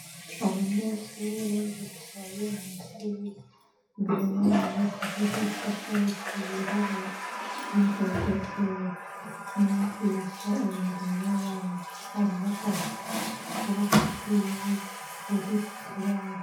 Abanyeshure bicaye mw' ishure, imbere yabo hariho isakoshi yirabura n'intebe zera umwigisha ari mbere yabo barahagaze ukuboko kwiwe kuri ku kibaho.